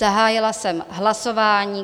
Zahájila jsem hlasování.